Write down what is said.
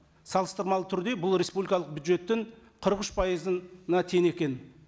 салыстырмалы түрде бұл республикалық бюджеттің қырық үш пайызына тең екен